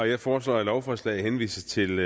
jeg foreslår at lovforslaget henvises til